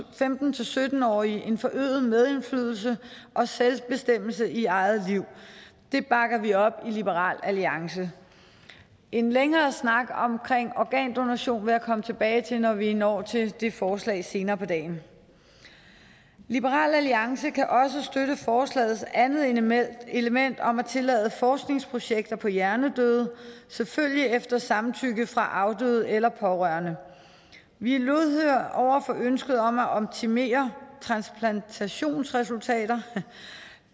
femten til sytten årige en forøget medindflydelse og selvbestemmelse i eget liv det bakker vi op i liberal alliance en længere snak om organdonation vil jeg komme tilbage til når vi når til det forslag senere på dagen liberal alliance kan også støtte forslagets andet element element om at tillade forskningsprojekter på hjernedøde selvfølgelig efter samtykke fra afdøde eller pårørende vi er lydhøre over for ønsket om at optimere transplantationsresultater